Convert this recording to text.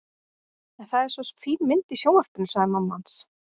En það er svo fín mynd í sjónvarpinu sagði mamma hans.